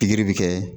Pikiri bɛ kɛ